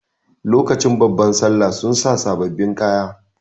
Lokacin babban sallah sun sa sababbin kaya.